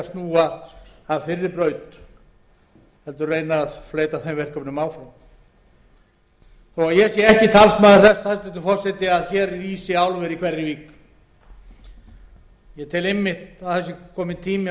snúa af þeirri braut heldur reyna að fleyta þeim verkefnum áfram þó ég sé ekki talsmaður þess hæstvirtur forseti að hér rísi álver í hverri vík ég tel einmitt að það sé kominn tími á